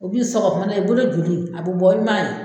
U b'i sɔgɔ kuma dɔ la i bolo joli a bɛ bɔ i m'a ye